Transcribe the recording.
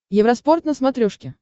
евроспорт на смотрешке